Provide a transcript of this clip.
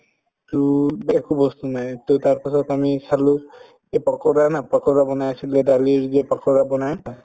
to একো বস্তু নাই to তাৰপাছত আমি চালো এই পাকৰা না পাকৰা বনাই আছিলে দালিৰ যে পাকৰা বনাই